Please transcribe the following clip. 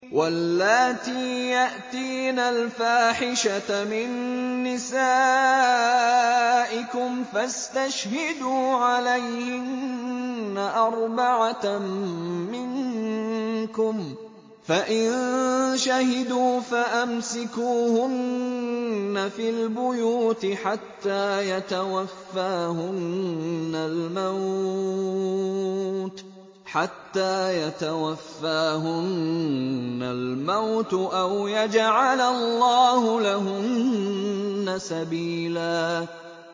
وَاللَّاتِي يَأْتِينَ الْفَاحِشَةَ مِن نِّسَائِكُمْ فَاسْتَشْهِدُوا عَلَيْهِنَّ أَرْبَعَةً مِّنكُمْ ۖ فَإِن شَهِدُوا فَأَمْسِكُوهُنَّ فِي الْبُيُوتِ حَتَّىٰ يَتَوَفَّاهُنَّ الْمَوْتُ أَوْ يَجْعَلَ اللَّهُ لَهُنَّ سَبِيلًا